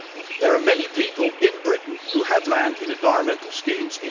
There are many people in Britain who have land in environmental schemes.